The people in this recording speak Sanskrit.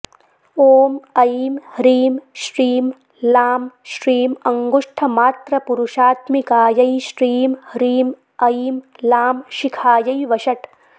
ॐ ऐं ह्रीं श्रीं लां श्रीं अङ्गुष्ठमात्रपुरुषात्मिकायै श्रीं ह्रीं ऐं लां शिखायै वषट्